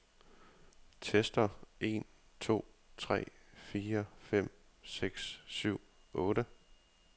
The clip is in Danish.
Tester en to tre fire fem seks syv otte.